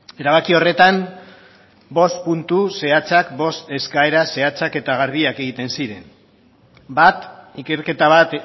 erabaki horretan bost puntu zehatzak bost eskaera zehatzak eta garbiak egiten ziren bat ikerketa bat